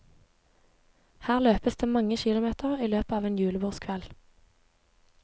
Her løpes det mange kilometer i løpet av en julebordskveld.